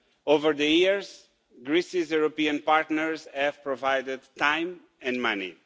Over the years, Greece's European partners have provided time and money.